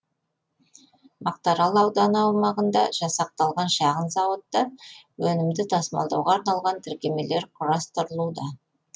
мақтарал ауданы аумағында жасақталған шағын зауытта өнімді тасымалдауға арналған тіркемелер құрастырылуда